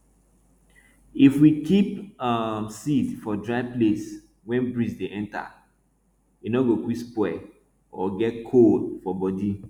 if we keep um seed for dry place wey breeze dey enter e nor go quick spoil or get cold for body